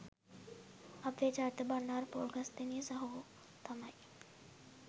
අපේ චරිත බණ්ඩාර පොල්ගස්දෙණිය සහෝ තමයි.